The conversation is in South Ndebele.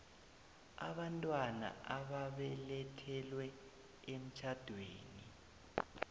abantwana ababelethelwe emtjhadweni